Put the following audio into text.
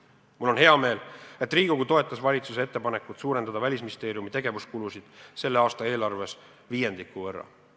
Mul on hea meel, et Riigikogu toetas valitsuse ettepanekut suurendada Välisministeeriumi tegevuskulusid selle aasta eelarves viiendiku võrra.